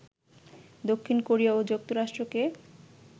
দক্ষিণ কোরিয়া ও যুক্তরাষ্ট্রকে